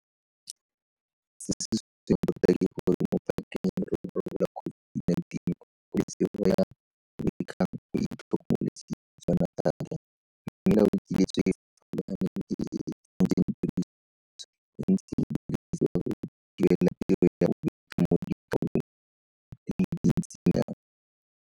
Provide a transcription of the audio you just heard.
Monnasetulo wa Komiti e e Eletsang Ditona mo Mererong ya COVID-19 yo gape e leng Tokololo ya Khuduthamaga kwa go NHLS, Moporofesara Koleka Mlisana, o tlhalositse gore.